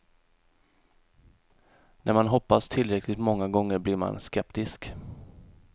När man hoppats tillräckligt många gånger blir man skeptisk.